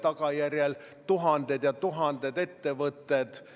Te räägite, et see eelarve olevat populistlik, see ei ole reaalsusega vastavuses jne.